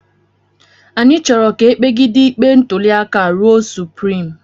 Anyị chọrọ ka e kpegide ikpe ntụliaka a ruo suprim